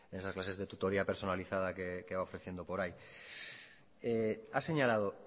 esas clases de tutoría personalizada que va ofreciendo por ahí ha señalado